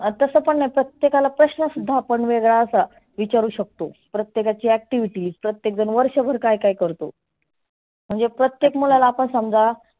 तसं पण प्रत्येकाला आपण प्रश्न सुद्धा वेगळा विचारु शकतो. प्रत्येकाची activities प्रत्येका जन वर्षभर काय काय करतो? म्हणजे प्रत्येक मुलाला आपण समजा